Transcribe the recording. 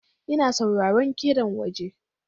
Ina sauraron kiɗan waje.